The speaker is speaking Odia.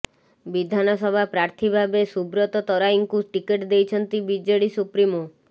ବିଧାନସଭା ପ୍ରାର୍ଥୀ ଭାବେ ସୁବ୍ରତ ତରାଇଙ୍କୁ ଟିକେଟ ଦେଇଛନ୍ତି ବିଜେଡ଼ି ସୁପ୍ରିମୋ